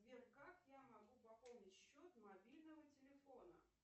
сбер как я могу пополнить счет мобильного телефона